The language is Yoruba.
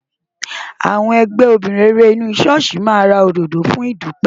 Àwọn ẹgbẹ́ obìnrin rere inú ṣọ́ọ̀ṣì máa ra òdòdó fún ìdúpẹ́.